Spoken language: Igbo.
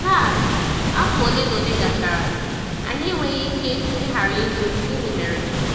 Taa, afọ ole na ole gachara, anyị enweghị ike ịghara ịjụ: ‘Gịnị mere?’